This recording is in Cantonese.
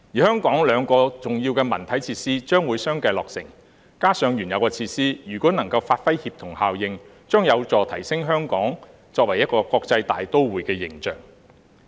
香港兩項重要的文體設施將會相繼落成，加上原有的設施，如果能夠發揮協同效應，將有助提升香港作為一個國際大都會的形象。